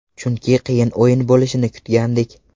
Chunki qiyin o‘yin bo‘lishini kutgandik.